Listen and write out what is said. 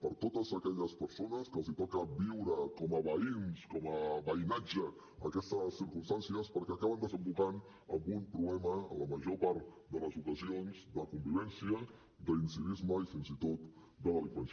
per a totes aquelles persones que els toca viure com a veïns com a veïnatge aquestes circumstàncies perquè acaben desembocant en un problema en la major part de les ocasions de convivència d’incivisme i fins i tot de delinqüència